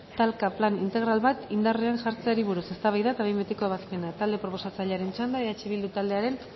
talka plan integral bat indarrean jartzeari buruz eztabaida eta behin betiko ebazpena talde proposatzailearen txanda eh bildu taldearen